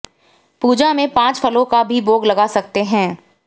पूजा में पांच फलों का भी भोग लगा सकते हैं